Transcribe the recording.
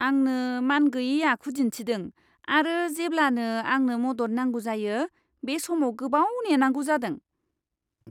आंनो मानगैयै आखु दिन्थिदों आरो जेब्लानो आंनो मदद नांगौ जायो, बे समाव गोबाव नेनांगौ जादों!